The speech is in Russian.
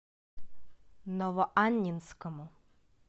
новоаннинскому